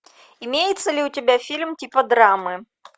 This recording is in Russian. имеется ли у тебя фильм типа драмы